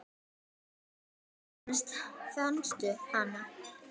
En mamma þín, fannstu hana?